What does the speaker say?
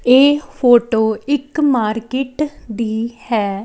ਇਹ ਫੋਟੋ ਇੱਕ ਮਾਰਕੀਟ ਦੀ ਹੈ।